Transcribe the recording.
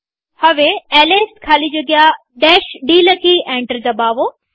હવે એલએસ ખાલી જગ્યા d લખી એન્ટર દબાવો